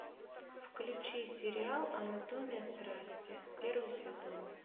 включи сериал анатомия страсти первый сезон